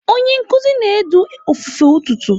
Onye nkuzi na-edu ofufe ụtụtụ.